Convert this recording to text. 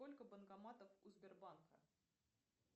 сколько банкоматов у сбербанка